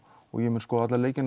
ég mun skoða alla leiki